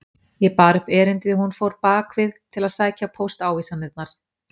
Ég bar upp erindið og hún fór bak við til að sækja póstávísanirnar.